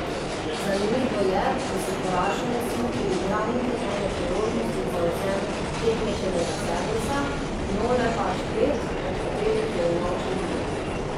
Zanimivo je, da si poraženec ni priigral niti ene priložnosti za odvzem tekmečevega servisa, Nole pač pet, od katerih je unovčil dve.